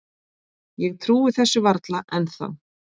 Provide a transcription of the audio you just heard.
Ég trúi þessu varla ennþá.